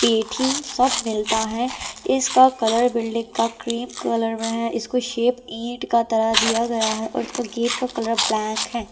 पेठी सब मिलता है इसका कलर बिल्डिंग का क्रीम कलर में है इसको शेप ईंट का तरह दिया गया है और इसका गेट का कलर ब्लैक है।